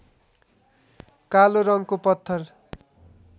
कालो रङको पत्थर